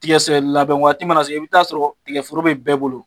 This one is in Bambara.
Tiga sɛ labɛn waati mana se i bi taa sɔrɔ tigɛforo bi bɛɛ bolo.